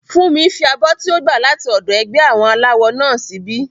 Fúnmi fi abọ́ tí ó gbà láti ọ̀dọ̀ ẹgbẹ́ àwọn aláwọ náà síbí